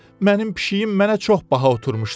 Mənim pişiyim mənə çox baha oturmuşdu.